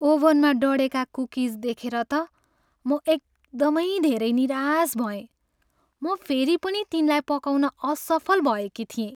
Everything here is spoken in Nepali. ओभनमा डढेका कुकिज देखेर त म एकदमै धेरै निराश भएँ। म फेरि पनि तिनलाई पकाउन असफल भएकी थिएँ।